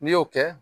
N'i y'o kɛ